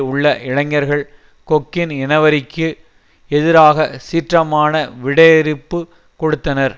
உள்ள இளைஞர்கள் கொக்கின் இனவெறிக்கு எதிராக சீற்றமான விடையிறுப்பு கொடுத்தனர்